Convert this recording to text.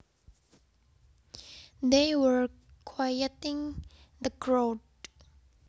They were quieting the crowd